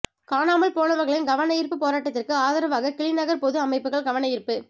காணாமல் போனவர்களின் கவனயீர்ப்பு போராட்டத்திற்கு ஆதரவாக கிளிநகர் பொது அமைப்புகள் கவனயீர்ப்பு